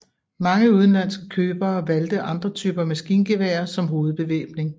Mange udenlandske købere valgte andre typer maskingeværer som hovedbevæbning